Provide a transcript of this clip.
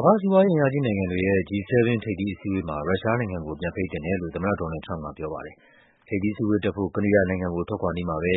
ကမ္ဘာ့စီးပွားရေးအင်အားကြီးနိုင်ငံတွေရဲ့ G-7 ထိပ်သီးအစည်းအဝေး မှာ ရုရှားနိုင်ငံကို ပြန်ဖိတ်သင့်တယ်လို့ သမ္မတ ဒေါ်နယ်လ်ဒ် ထရမ့်ပ်က ပြောပါတယ်။ ထိပ်သီးအစည်းအဝေးတက်ဖို့ ကနေဒါနိုင်ငံကို ထွက်ခွာနီးမှာပဲ